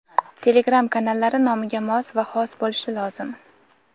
Telegram kanallari nomiga mos va xos bo‘lishi lozim.